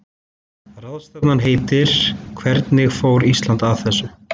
Ráðstefnan heitir Hvernig fór Ísland að þessu?